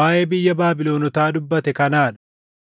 waaʼee biyya Baabilonotaa dubbate kanaa dha: